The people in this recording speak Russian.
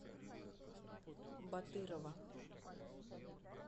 батырова